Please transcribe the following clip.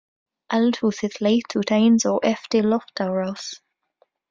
Eldhúsið leit út eins og eftir loftárás.